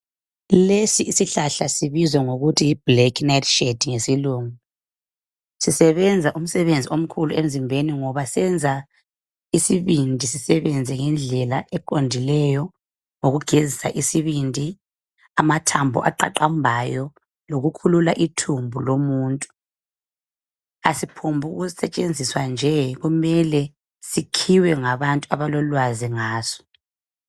Lesi isihlahla sibizwa ngokuthi yiblack nightshade ngesilungu. Sisebenza umsebenzi omkhulu emzimbeni ngoba siyenza isibindi sisebenze ndendlela eqondileyo ngokugezisa isibindi, amathambo aqaqambayo lokukhulula ithumbu lomuntu. Asiphombukusetshenziswa kuphela kumele sikhiwe ngabantu abalolwazi ngaso.